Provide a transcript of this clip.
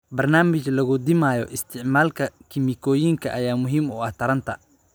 Barnaamij lagu dhimayo isticmaalka kiimikooyinka ayaa muhiim u ah taranta.